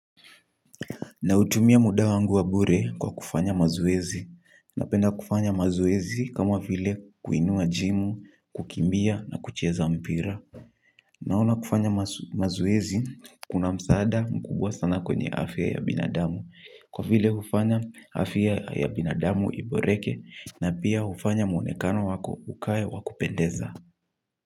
Nautumia muda wangu wa bure kwa kufanya mazoezi. Napenda kufanya mazoezi kama vile kuinua jimu, kukimbia na kucheza mpira. Naona kufanya mazoezi kuna msaada mkubwa sana kwenye afya ya binadamu. Kwa vile hufanya afya ya binadamu iboreke na pia hufanya mwonekano wako ukae wa kupendeza.